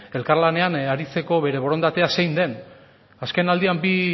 elkar lanean aritzeko bere borondatea zein den azkenaldian bi